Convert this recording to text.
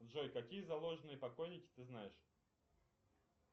джой какие заложные покойники ты знаешь